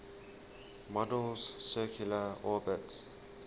model's circular orbits